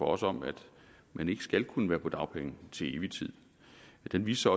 os om at man ikke skal kunne være på dagpenge til evig tid den viste